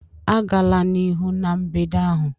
Agala n'ihu na mbedo ahụ!